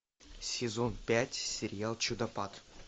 сезон пять сериал чудопад